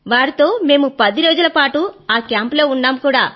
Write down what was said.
వారితో మేము పది రోజుల పాటు ఆ కేంప్ లో ఉన్నాము